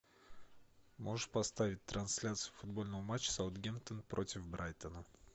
можешь поставить трансляцию футбольного матча саутгемптон против брайтона